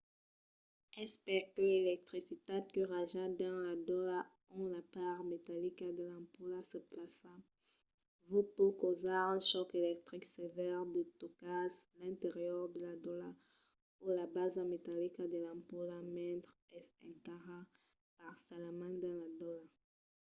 es perque l'electricitat que raja dins la dolha ont la part metallica de l'ampola se plaça vòs pòt causar un chòc electric sevèr se tocatz l'interior de la dolha o la basa metallica de l'ampola mentre es encara parcialament dins la dolha